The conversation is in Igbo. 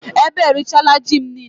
Beetle has eaten all my yam